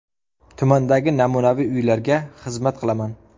Tumandagi namunaviy uylarga xizmat qilaman.